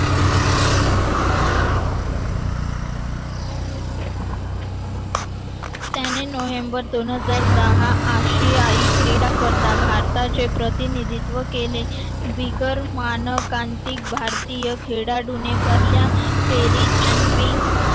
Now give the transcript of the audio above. त्याने नोव्हेंबर दोन हजार दहा आशियाई क्रीडा स्पर्धा भारताचे प्रतिनिधित्व केले. बिगर मानव कांतिक भारतीय खेळाडू पहिल्या फेरीत John und